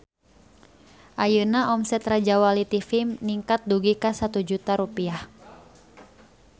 Ayeuna omset Rajawali TV ningkat dugi ka 1 juta rupiah